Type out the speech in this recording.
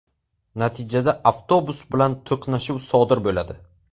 Natijada avtobus bilan to‘qnashuv sodir bo‘ladi.